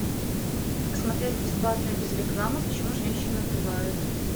смотреть бесплатно без рекламы почему женщины убивают